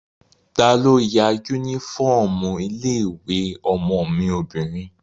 Talo ya yúnífọ́ọ̀mù ilé-ìwé ọmọ mi obìnrin?